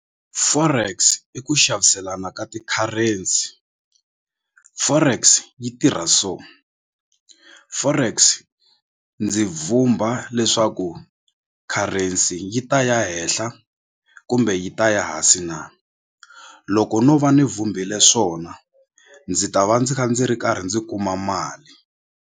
Forex i ku xaviselana ka ti-currency forex yi tirha so forex ndzi vhumba leswaku currency yi ta ya henhla kumbe yi ta ya hansi na loko no va ni vumbile swona ndzi ta va ndzi kha ndzi ri karhi ndzi kuma mali.